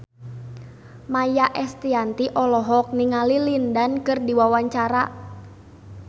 Maia Estianty olohok ningali Lin Dan keur diwawancara